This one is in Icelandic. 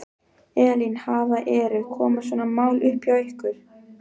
Elín, hafa, eru, koma svona mál upp hjá ykkur?